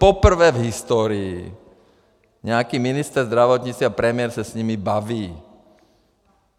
Poprvé v historii nějaký ministr zdravotnictví a premiér se s nimi baví.